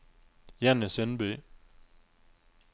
Jenny Sundby